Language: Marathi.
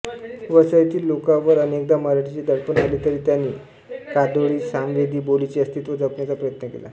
वसईतील लोकांवर अनेकदा मराठीचे दडपण आले तरी त्यांनी कादोडीसामवेदी बोलीचे अस्तित्व जपण्याचा प्रयत्न केला